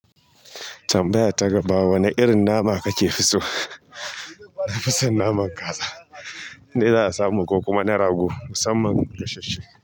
Tambaya ta gaba wane irin nama ka ke fi so? Na fi son naman kaza, dai zan samu ko kuma na rago, musamman gashasshe.